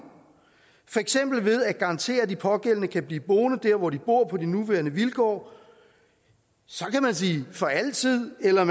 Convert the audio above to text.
for eksempel ved at garantere at de pågældende kan blive boende dér hvor de bor på de nuværende vilkår så kan man sige at for altid eller